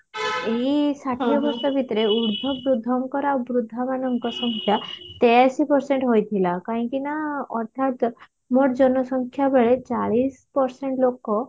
ଏଇ ଷାଠିଏ ବର୍ଷ ଭିତରେ ଉର୍ଦ୍ଧ ବୃଦ୍ଧଙ୍କର ଆଉ ବୃଦ୍ଧ ମାନଙ୍କ ସଂଖ୍ୟା ତେୟାଅସି percent ହୋଇଥିଲା କାହିଁକି ନା ଅଧା ମୋଟ ଜନସଂଖ୍ୟା ବେଳେ ଚାଳିଶ percent ଲୋକ